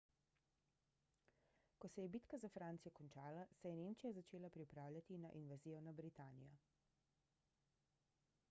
ko se je bitka za francijo končala se je nemčija začela pripravljati na invazijo na britanijo